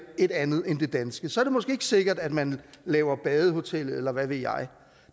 et andet end det danske så er det måske ikke sikkert at man laver badehotellet eller hvad ved jeg